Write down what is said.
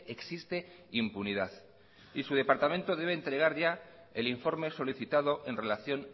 existe impunidad y su departamento debe entregar ya el informe solicitado en relación